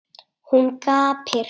Hún gapir.